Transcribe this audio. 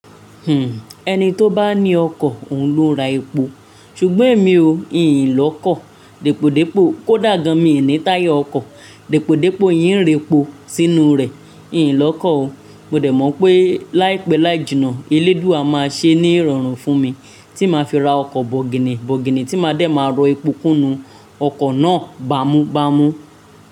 Hmm, ẹni tó bá ní ọkọ̀, òun ló ń ra epo. Ṣùgbọ́n èmi o, ì n lọkọ̀. Dípòdípò kó dàgan, mi ní táyà ọkọ̀. Dípòdípò yín ń rẹpo sínú rẹ̀. Ìyín lọkọ̀ o. Mo dẹ̀ mọ̀ pé láìpẹ́ láì jìnnà, Eléduàá máa ṣe ní ìrọ̀rùn fún mi tí màá fi ra ọkọ̀ bọ̀gìnì bọ̀gìnì tí má de máa rọ epo kúnú ọkọ̀ náà bámúbámú.